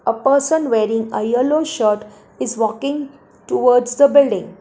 A person wearing yellow shirt is walking towards the building.